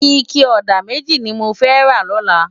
Iké òdá mèjí ni mó fè rá lòlá